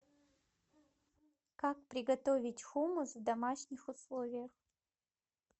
как приготовить хумус в домашних условиях